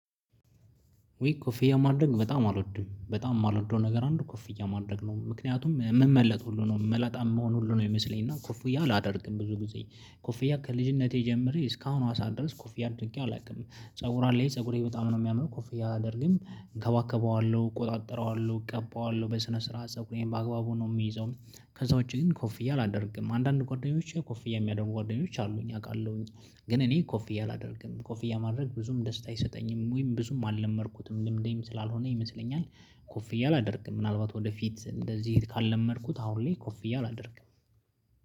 ወይ ኮፍያ ማድረግ በጣም አልወድም በጣም የማልወደው ነገር አንዱ ኮፍያ ማድረግ ነው ምክንያቱም የምመለጠው ሁሉ ነው የምመለጠው መሆን ሁሉ ነው የሚመስለኝ። እና ኮፍያ አላደርግም ብዙ ጊዜ ኮፍያ ከልጅነቴ ጀምሬ እስካሁን ዋሳ ድረስ ኮፍያ ድንቄ አላውቅም ፀጉር አለ ፀጉሬ በጣም ነው የሚያምነው ኮፍያ አላደርግም እከባከበዋለሁ እቆጣጠረዋለሁ እቀባዋለሁ በስነ ስርዓት ፀብ እኔም በአግባቡ ነው የሚይዘው። ከዛ ውጪ ግን ኮፍያ አላደርግም አንዳንድ ጓደኞቼ ኮፍያ የሚያደርጉ ጓደኞች አሉኝ አውቃለሁኝ። ግን እኔ ኮፊያ አላደርግም ኮፊያ ማድረግ ብዙም ደስታ አይሰጠኝም ወይም ብዙም አልለመድኩትም ልምድም ስላልሆነ ይመስለኛል። ኮፍያ ላደርግም ምናልባት ወደፊት እንደዚህ ካልለመድኩት አሁን ላይ ኮፍያ አድርግ